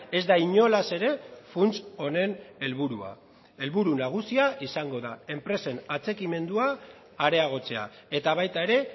ez da inolaz ere funts honen helburua helburu nagusia izango da enpresen atxikimendua areagotzea eta baita ere